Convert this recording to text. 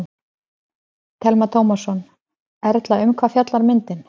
Telma Tómasson: Erla, um hvað fjallar myndin?